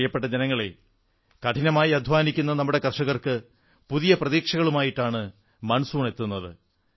പ്രിയപ്പെട്ട ജനങ്ങളേ കഠിനമായി അധ്വാനിക്കുന്ന നമ്മുടെ കർഷകർക്ക് പുതിയ പ്രതീക്ഷകളുമായിട്ടാണ് കാലവർഷം എത്തുന്നത്